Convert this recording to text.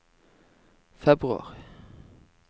februar